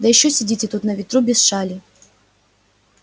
да ещё сидите тут на ветру без шали